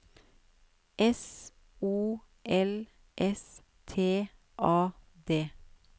S O L S T A D